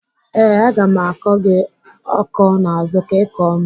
Ee, aga m akọ gị akọ n'azụ ka Ị kọọ m.